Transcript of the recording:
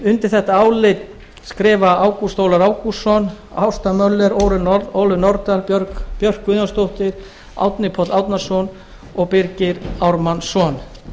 undir þetta álit skrifa ágúst ólafur ágústsson ásta möller ólöf nordal björk guðjónsdóttir árni páll árnason og birgir ármannsson